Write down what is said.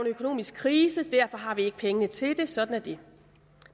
økonomisk krise så derfor har vi ikke pengene til det sådan er det